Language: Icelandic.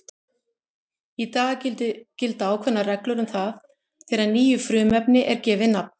Í dag gilda ákveðnar reglur um það þegar nýju frumefni er gefið nafn.